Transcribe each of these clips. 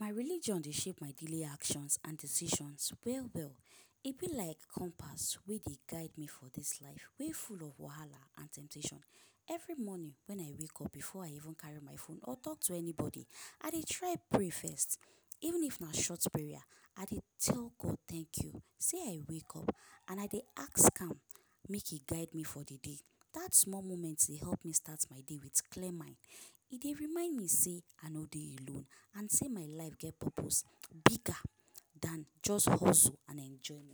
My religion dey shape my daily actions and decisions well well. E be like compass wey dey guide me for dis life, wey full of wahala and temptation. Every morning when I wake up before I even carry my phone or talk to anybody, I dey try pray first even if na short prayer. I dey tell God “thank you, sey I wake up” and I dey ask am make He guide me for the day. That small moment dey help me start my day with clear mind. E dey remind me sey ah no dey alone and sey my life get purpose bigger than jus hustle an enjoyment.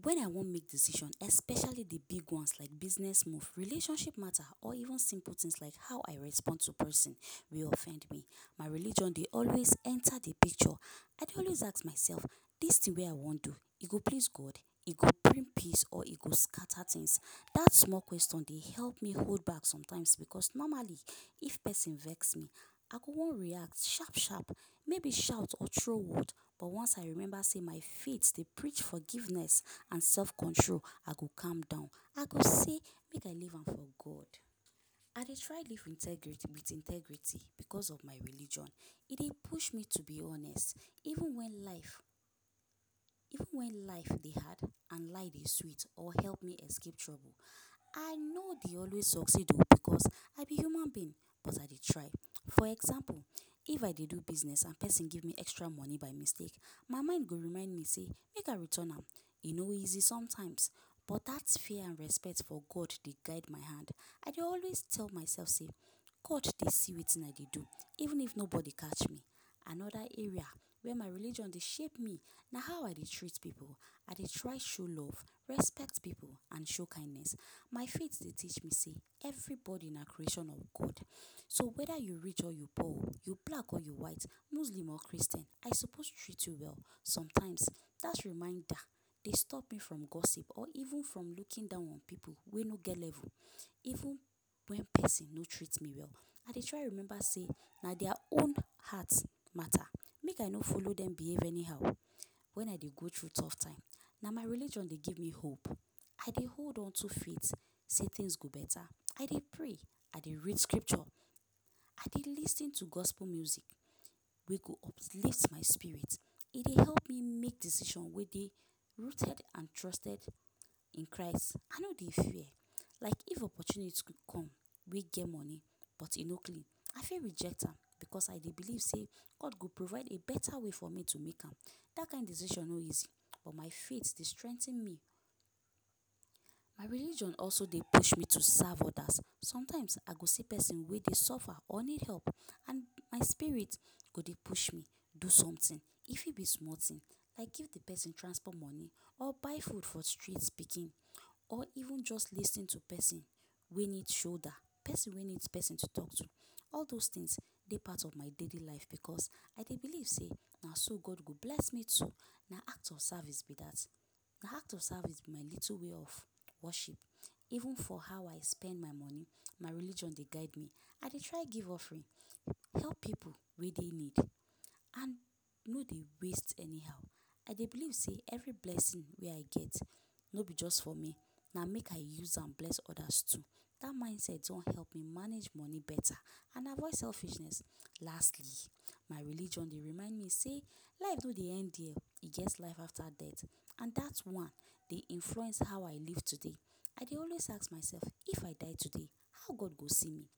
When I wan make decision especially the big ones like business move, relationship matter or even simple things like how I respond to person wey offend me, my religion dey enter the picture. I dey always ask myself; this thing wey I wan do e go piss God, e go bring peace or e go scatter things? That small question dey help me hold back. Because normally, if person vex me ah go wan react shap shap, maybe shout or throw word. But once I remember sey my faith dey preach forgiveness and self control, ah go calm down. I go say make I leave am for God. I dey try live integrity with integrity because of my religion. E dey push me to be honest even when life even when life dey hard and lie dey sweet or help me escape trouble. I no dey always succeed oh because I be human being but I dey try. For example, if I dey do business and person give me extra money by mistake. My mind go remind me sey make I return am. E no easy sometimes. but that fear and respect for God dey guide my hand. I dey always tell myself sey God dey see wetin I dey do even if nobody catch me. Another area where my religion dey shape me na how I dey treat people. I dey try show love, respect people and show kindness. My faith dey teach me sey everybody na creation of God. So whether u rich or u poor, u black or u white, muslim or Christian I suppose treat u well. Sometimes that reminder dey stop me from gossip or even from looking down on people wey no get level. Even when person no treat me well, I dey try remember sey na their own heart matter, make I no follow them behave anyhow. When I dey go through tough time, na my religion dey give me hope. I dey hold unto faith sey things go better. I dey pray, I dey read scripture, I dey lis ten to gospel music wey go uplift my spirit. E dey help me make decision wey dey rooted and trusted in Christ. I no dey fear. Like if opportunity go come wey get money but e no clean, I fit reject am because I dey believe sey God go provide a better way for me to make am. That kind decision no easy but my faith dey strengthen me. my religion also dey push me to serve others. Sometimes I go see person wey dey suffer or need help and my spirit go dey push my do something. E fit be small thing like give the person transport money or buy food for street pikin or even jus lis ten to person wey need shoulder; person wey need person to talk to. All those things dey part of my daily life because I dey believe sey na so God go bless me too. Na act of service be that. Na act of service be my little way of worship. Even for how I spend my money my religion dey guide me. I dey try give offering, help people wey dey need, and no dey waste anyhow. I dey believe sey every blessing wey I get no be just for me, na make I use am bless others too. That mindset don help me manage money better and avoid selfishness. Lastly, my religion dey remind me sey life no dey end here, e get life after death. And that one dey influence how I live today. I dey always ask myself, if I die today how God go see me?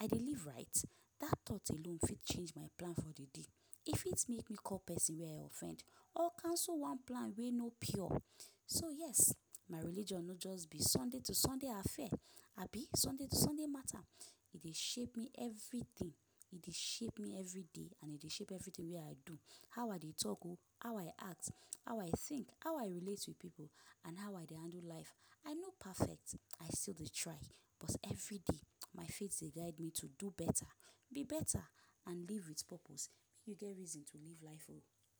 I dey live right? That thought alone fit change my plan for the day. E fit make me call person wey I offend or cancel one plan wey no pure. So yes, my religion no just be Sunday to Sunday affair. Abi Sunday to Sunday matter. E dey shape me everything, e dey shape me everyday and e dey shape everything wey I do.how I dey talk oh, how I act, how I think, how I relate with people and how I dey handle life. I no perfect, I still dey try but everyday my faith dey guide me to do better, be better and live with purpose. Make u get reason to live life oh.